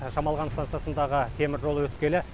шамалған станциясындағы теміржол өткелі